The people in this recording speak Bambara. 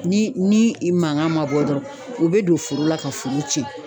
Ni ni i mankan ma bɔ dɔrɔn u be don foro la ka foro cɛn.